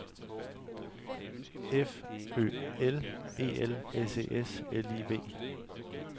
F Ø L E L S E S L I V